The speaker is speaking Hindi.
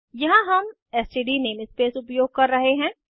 यहाँ हम एसटीडी नेमस्पेस उपयोग कर रहे हैं